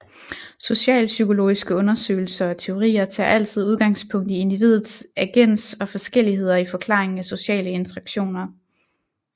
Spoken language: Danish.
Socialpsykologiske undersøgelser og teorier tager altid udgangspunkt i individet agens og forskelligheder i forklaringen af sociale interaktioner